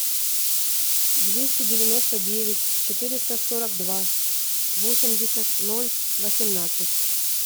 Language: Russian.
двести девяносто девять четыреста сорок два восемьдесят ноль восемнадцать